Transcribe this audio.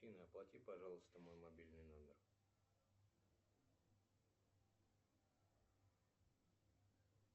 афина оплати пожалуйста мой мобильный номер